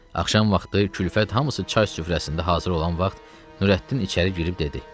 Axşam vaxtı Külfət hamısı çay süfrəsində hazır olan vaxt, Nurəddin içəri girib dedi: